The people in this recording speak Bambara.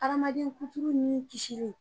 Adamaden kuturu nin kisili